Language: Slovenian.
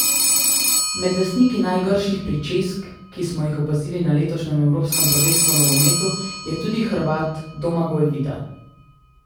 Med lastniki najgrših pričesk, ki smo jih opazili na letošnjem evropskem prvenstvu v nogometu, je tudi Hrvat Domagoj Vida.